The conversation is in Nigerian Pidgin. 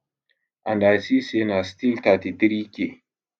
and i see say na still 33k